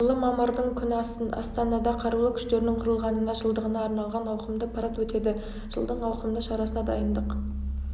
жылы мамырдың күні астанада қарулы күштерінің құрылғанына жылдығына арналған ауқымды парад өтеді жылдың ауқымды шарасына дайындық